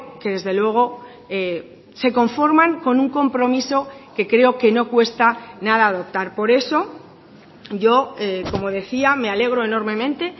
que desde luego se conforman con un compromiso que creo que no cuesta nada adoptar por eso yo como decía me alegro enormemente